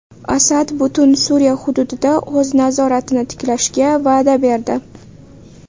Asad butun Suriya hududida o‘z nazoratini tiklashga va’da berdi.